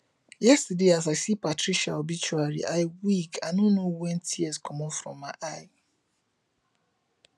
yesterday as i see patricia obituary i weak i no know when tears comot for my eyes